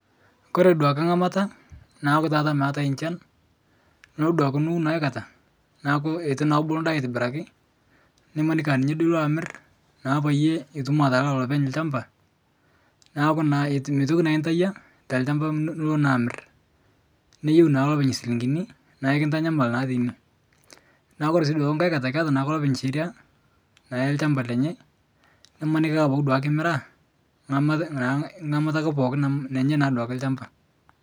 Kore duake nkamata naaku tata meatae nchan nulo duake niun aikata naaku etu naa eku naa atibiraki nimaniki aku ninye duo amir peyie itum atalaa lopeny lshamba naaku meitoki naa intayia telshamba nilo naa amir niyeu naa lopeny silingini naaku kintanyamal naa teine, Kore sii duake nkae katai ketaa naake lopeny sheria naa elshamba lenye nimaniki naaduake kimiraa nkamata naake pooki amu lenye naaduake lshamba.